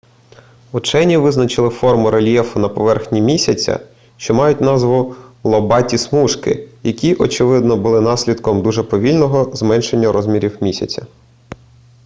учені визначили форми рельєфу на поверхні місяця що мають назву лобаті смужки які очевидно були наслідком дуже повільного зменшення розмірів місяця